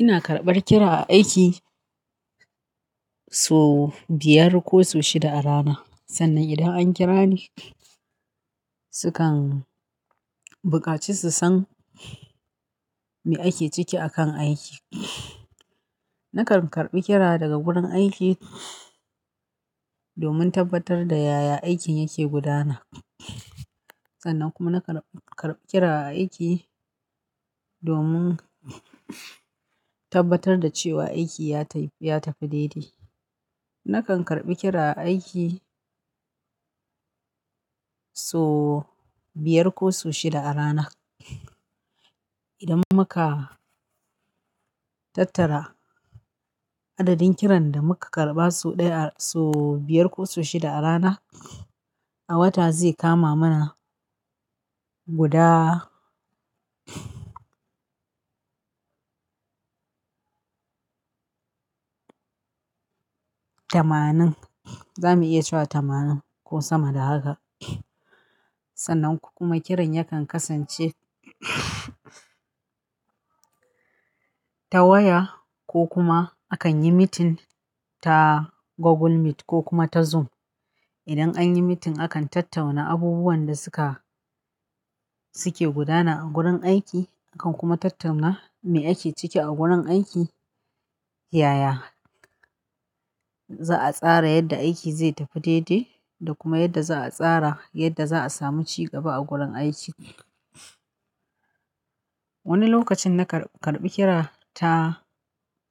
Ina karɓar kira a aiki sau biyar ko sau shida a rana. Sannan idan an kira ni, sukan buƙaci su san me ake ciki akan aiki. Nakan karɓi kira daga gurin aiki domin tabbatar da yaya aikin yake gudana. Sannan kuma nakan karɓi, karɓi kira a aiki domin tabbatar da cewa aiki ya tafi, ya tafi daidai. Nakan karɓi kira a aiki so biyar ko so shida a rana. Idan muka tattara adadin kiran da muka karɓa sau ɗaya, sau biyar ko sau shida a rana, a wata zai kama mana guda tamanin. Za mu iya cewa tamanin ko sama da haka. Sannan kuma kiran yakan kasance ta waya ko kuma akan yi meeting ta Google Meet ko kuma ta Zoom. Idan an yi meeting, akan tattana abubuwan da suka, suke gudana a gurin aiki. Akan kuma tattauna me ake ciki a gurin aiki, yaya. Za a tsara yadda aiki zai tafi daidai da kuma yadda za a tsara yadda za a samu cigaba a gurin aiki. Wani lokacin nakan karɓi kira ta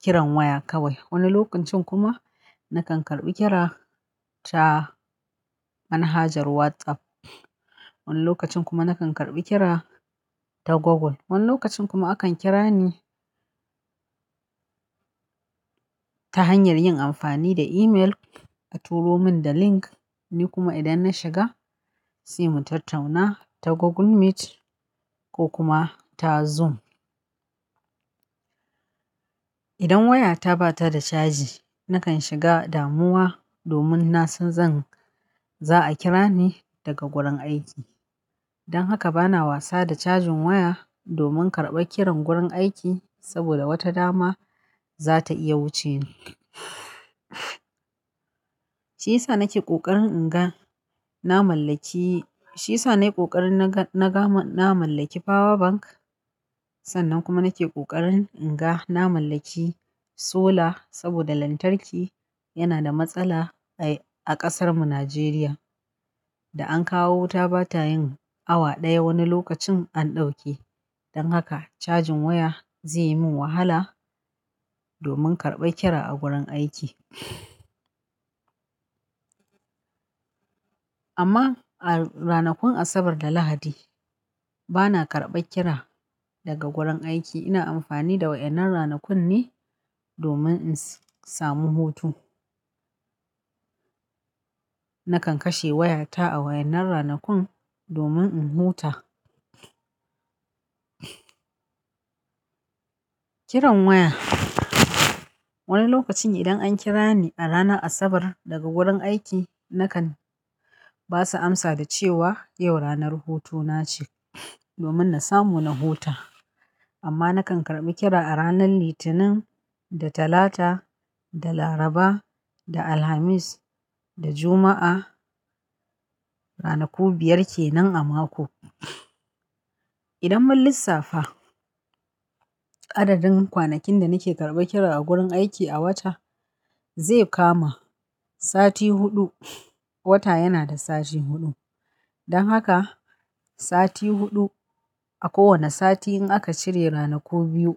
kiran waya kawai. Wani lokacin kuma nakan karɓi kira ta manhajar WhatsApp. Wani lokacin kuma nakan karɓi kira ta Google. Wani lokacin kuma akan kira ni ta hanyar yin amfani da email. A turo mun da link, ni kuma idan na shiga, sai mu tattauna ta Google Meet ko kuma ta Zoom. Idan waya ta ba ta da caji, nakan shiga damuwa domin na san zan, za a kira ni daga gurin aiki. Dan haka bana wasa da cajin waya domin karɓar kiran gurin aiki saboda wata dama za ta iya wuce ni. Shi yasa nake ƙoƙarin in ga na mallaki, shi yasa nayi ƙoƙarin na ga, na ga, na mallaki power bank. Sannan kuma nake ƙoƙarin in ga na mallaki solar sabida lantarki yana da matsala a ƙasar mu Najeriya. Da an kawo wuta ba ta yin awa ɗaya, wani lokacin an ɗauke. Dan haka, cajin waya zai yi min wahala domin karɓar kira a gurin aiki. Amma a ranakun Asabar da Lahadi bana karɓar kira daga gurin aiki. Ina amfani da waƴan nan ranakun ne domin in samu hutu. Nakan kashe wayata a waƴan nan ranakun domin in huta. Kiran waya, wani lokacin idan an kira ni a ranar Asabar daga gurin aiki nakan ba su amsa da cewa yau ranar hutuna ce domin na samu na huta. Amma nakan karɓi kira a ranar Litinin da Talata da Laraba da Alhamis da Juma'a. Ranaku biyar kenan a mako. Idan mun lissafa, adadin kwanakin da nake karɓar kira a gurin aiki a wata, zai kama sati huɗu. Wata yana da sati huɗu. Dan haka sati huɗu a kowane sati in aka cire ranaku biyu,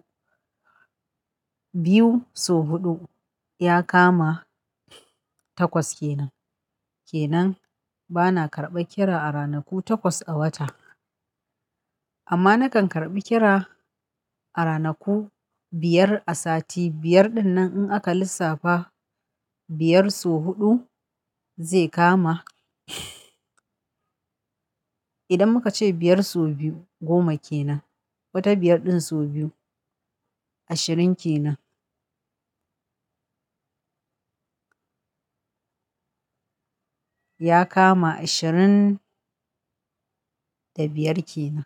biyu sau huɗu ya kama takwas kenan. Kenan bana karɓar kira a ranaku takwas a wata. Amma nakan karɓi kira a ranaku biyar a sati. Biyar ɗin nan in aka lissafa biyar sau huɗu zai kama idan muka ce biyar sau biyu goma kenan. Wata biyar ɗin so biyu ashirin ke nan. Ya kama ashirin da biyar ke nan.